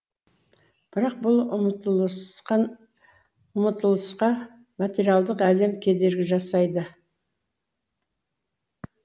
бірақ бұл ұмтылысқа материялық әлем кедергі жасайды